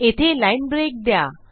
येथे line break द्या